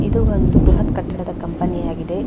ಇದು ಒಂದು ಬೃಹತ್ ಕಟ್ಟಡದ ಕಂಪನಿ ಆಗಿದೆ.